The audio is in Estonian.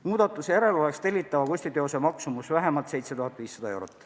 Muudatuse järel oleks tellitava kunstiteose maksumus vähemalt 7500 eurot.